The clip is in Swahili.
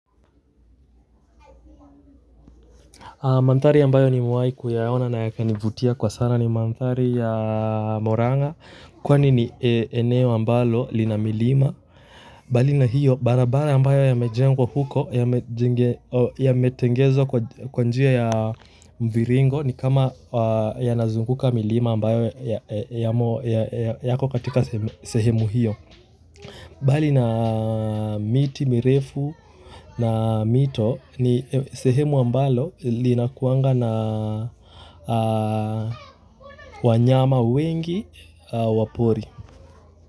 Mandhari ambayo nimewahi kuyaona na yakanivutia kwa sana ni mandhari ya Muranga kwani ni eneo ambalo lina milima mbali na hiyo barabara ambayo imejengwa huko imetengenezwa kwa njia ya mviringo, ni kama inazunguka milima ambayo inakatika sehemu hiyo mbali na miti mirefu na mito, ni sehemu ambalo linakuwanga na wanyama wengi wa pori.